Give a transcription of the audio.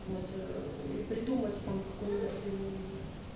вот или придумать там какой-нибудь